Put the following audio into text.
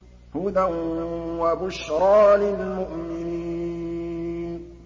هُدًى وَبُشْرَىٰ لِلْمُؤْمِنِينَ